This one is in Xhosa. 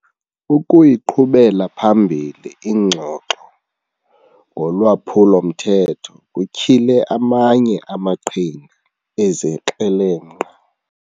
Ukuyiqhubela phambili ingxoxo ngolwaphulo-mthetho kutyhile amanye amaqhinga ezikrelemnqa.